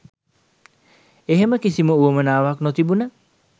එහෙම කිසිම උවමනාවක් නොතිබුන